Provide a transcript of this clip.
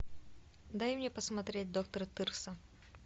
дай мне посмотреть доктор тырса